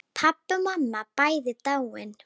Pabbi og mamma bæði dáin.